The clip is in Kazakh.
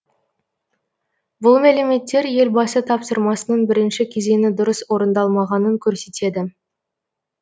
бұл мәліметтер елбасы тапсырмасының бірінші кезеңі дұрыс орындалмағанын көрсетеді